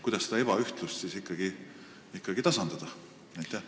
Kuidas seda ebaühtlust siis ikkagi tasandada?